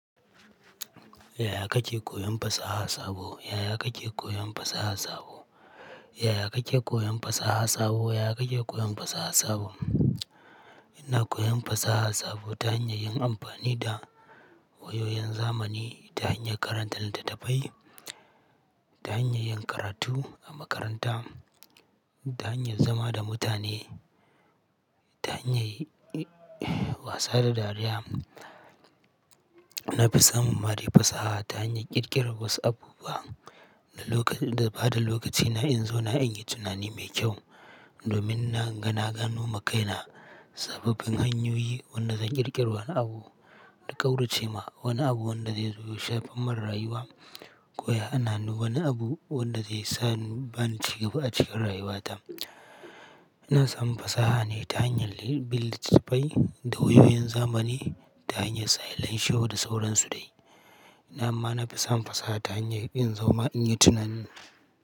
Yaya kake koyon fasaha sabo? Yaya kake koyon fasaha sabo? Yaya kake koyon fasaha sabo? Yaya kake koyon fasaha sabo? Ina koyon fasaha sabo ta hanyar yin amfani da wayoyin zamani, ta hanyar karanta littattafai, ta hanyar yin karatu a makaranta, ta hanyar zama da mutane, ta hanyar wasa da dariya. Na fi samun mare fasaha ta hanyar ƙirƙirar WhatsApp group da lokacin, da bada lokacina in zo na an yi tunani mai kyau domin na ganagano ma kaina sababbin hanyoyi wanda zan ƙirƙiri wani abu da ƙaurace ma wani abu wanda zai zubo shafan marayuwa ko ya hana ni wani abu wanda zai sa ni bani cigaba a cikin rayuwata. Ina samun fasaha ne ta hanyar littattafai da wayoyin zamani ta hanyar silence show da sauransu dai. Amma na fi samun fasaha ta hanyar in zo ma in yi tunani.